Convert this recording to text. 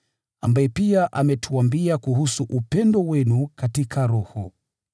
ambaye pia ametuambia kuhusu upendo wenu katika Roho.